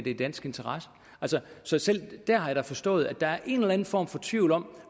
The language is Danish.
i dansk interesse så selv dér har jeg forstået at der er en eller anden form for tvivl om